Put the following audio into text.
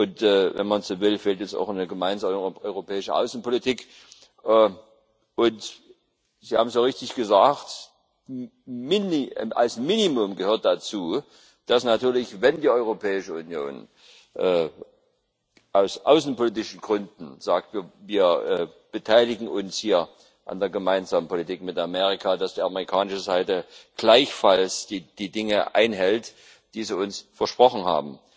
Und, wenn man so will, fehlt es auch an der gemeinsamen europäischen Außenpolitik. Sie haben sehr richtig gesagt Als Minimum gehört dazu, dass natürlich, wenn die Europäische Union aus außenpolitischen Gründen sagt Wir beteiligen uns hier an der gemeinsamen Politik mit Amerika, die amerikanische Seite gleichfalls die Dinge einhält, die sie uns versprochen hat.